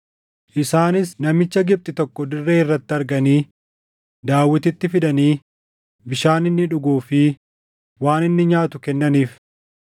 Isaanis namicha Gibxi tokko dirree irratti arganii Daawititti fidanii bishaan inni dhuguu fi waan inni nyaatu kennaniif.